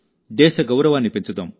దేశ గౌరవాన్ని పెంచుదాం